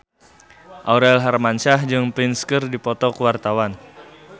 Aurel Hermansyah jeung Prince keur dipoto ku wartawan